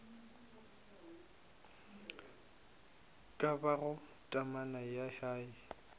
ka bago temana ya hei